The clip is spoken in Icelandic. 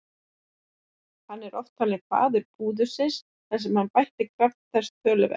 Hann er oft talinn faðir púðursins þar sem hann bætti kraft þess töluvert.